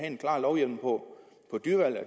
en klar lovhjemmel på